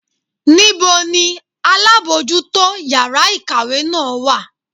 Níbo ni alábojútó yàrá ìkàwé náà wà?